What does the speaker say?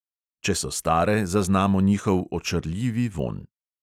Če so stare, zaznamo njihov očarljivi vonj.